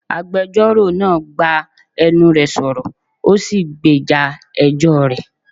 Agbẹjọ́rò náà gbá enú re sọ̀rọ̀, ó sì gbèjà ẹjọ́ rẹ̀.